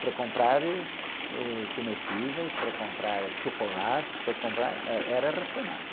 Para comprar, êh, eh, comestíveis, para comprar chocolates, para comprar, eh, era racionado.